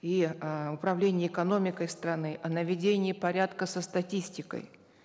и э управлении экономикой страны о наведении порядка со статистикой